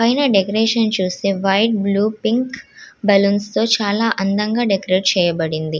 Pine decoration చూస్తే white blue balloons తో చాల అందంగా డెకరేట్ చేయబడింది.